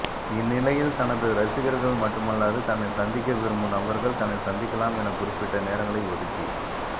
இந்நிலையில் தனது ரசிகர்கள் மட்டுமல்லாது தன்னை சந்திக்க விரும்பும் நபர்கள் தன்னை சந்திக்கலாம் என குறிப்பிட்ட நேரங்களை ஒதுக்கி